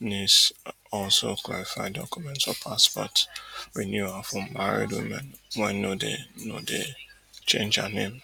nis also clarify documents for passport renewal for married women wey no dey no dey change her name